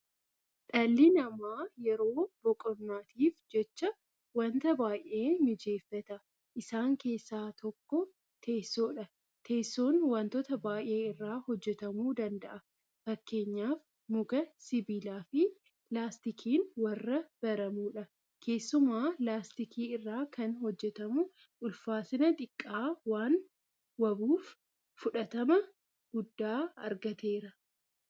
Dhalli namaa yeroo boqonnaatiif jecha waanta baay'ee mijeeffata. Isaan keessaa tokko teessoodha. Teessoon waantota baay'ee irraa hojjetamuu danda'a. Fakkeenyaaf muka, Sibiilaafi laastikiin warra baramoodha. Keessumaa laastikii irraa kan hojjetamu ulfaatina xiqqaa waanwabuuf fudhatama guddaa argateera.